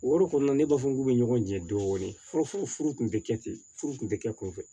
O yɔrɔ kɔni na ne b'a fɔ k'u bɛ ɲɔgɔn jɛ dɔɔnin fɔlɔ furu tun tɛ kɛ ten furu kun tɛ kɛ kunfɛ